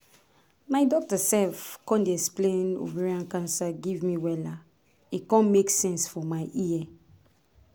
my doctor sef con explain ovarian cancer give me wella e con make sense for my ear